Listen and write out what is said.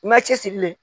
I ma cɛsiri dɛ